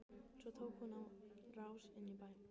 Svo tók hún á rás inn í bæ.